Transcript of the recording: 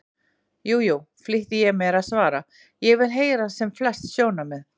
Jú, jú, flýti ég mér að svara, ég vil heyra sem flest sjónarmið.